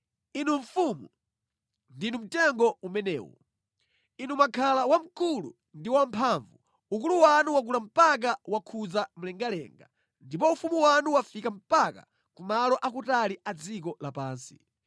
Inu mfumu, ndinu mtengo umenewo! Inu mwakhala wamkulu ndi wamphamvu; ukulu wanu wakula mpaka wakhudza mlengalenga, ndipo ufumu wanu wafika mpaka ku malo akutali a dziko lapansi.